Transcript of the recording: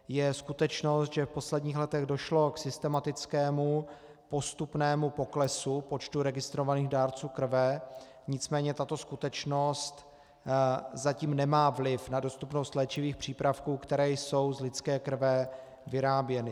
Je skutečnost, že v posledních letech došlo k systematickému postupnému poklesu počtu registrovaných dárců krve, nicméně tato skutečnost zatím nemá vliv na dostupnost léčivých přípravků, které jsou z lidské krve vyráběny.